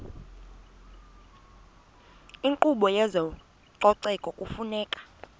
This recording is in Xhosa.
inkqubo yezococeko kufuneka